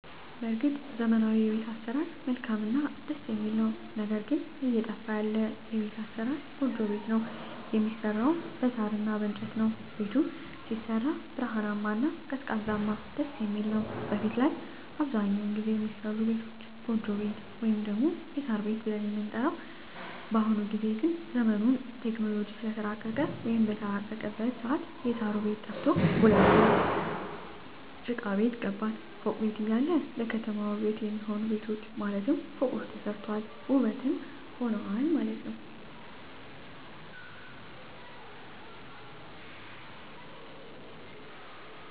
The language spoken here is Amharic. በርግጥ ዘመናዊዉ የቤት አሰራር መልካምእና ደስ የሚል ነዉ ነገር ግን እየጠፋ ያለ የቤት አሰራር ጎጆ ቤት ነዉ የሚሰራዉም በሳር እና በእንጨት ነዉ ቤቱም ሲሰራ ብርሃናማ እና ቀዝቃዛም ደስየሚል ነዉ በፊት ላይ አብዛኛዉን ጊዜ የሚሰሩ ቤቶች ጎጆ ቤት ወይም ደግሞ የሳር ቤት ብለን የምንጠራዉ ነዉ በአሁኑ ጊዜ ግን ዘመኑም በቴክኖሎጂ ስለተራቀቀ ወይም በተራቀቀበት ሰአት የእሳሩ ቤት ጠፍቶ ወደ ቡሉኬት ጭቃቤት ገባን ፎቅ ቤት እያለ ለከተማዋ ዉበት የሚሆኑ ቤቶች ማለትም ፎቆች ተሰርተዋል ዉበትም ሆነዋል